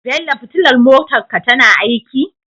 Bello fitilar motar ka tana aiki?